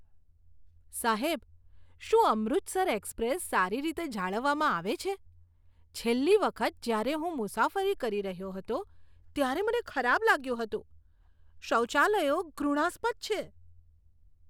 સાહેબ, શું અમૃતસર એક્સપ્રેસ સારી રીતે જાળવવામાં આવે છે? છેલ્લી વખત જ્યારે હું મુસાફરી કરી રહ્યો હતો ત્યારે મને ખરાબ લાગ્યું હતું. શૌચાલયો ઘૃણાસ્પદ છે.